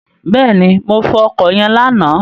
Bẹ́ẹ̀ni, mo fọ ọkọ̀ yẹn lánàá.